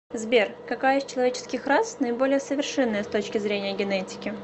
сбер какая из человеческих рас наиболее совершенная с точки зрения генетики